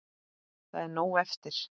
Það er nóg eftir.